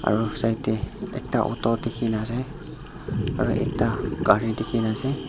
aru side tae ekta auto dekhina ase aru ekta gari dekhina ase.